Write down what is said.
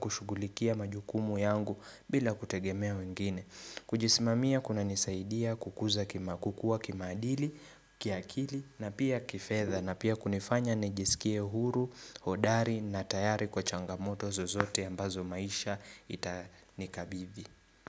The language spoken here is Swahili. kushughulikia majukumu yangu bila kutegemea wengine. Kujisimamia kuna nisaidia kukuza kima kukuwa, kimaadili, kiakili na pia kifedha na pia kunifanya nijisikie huru, hodari na tayari kwa changamoto zozote ambazo maisha itanikabidhi.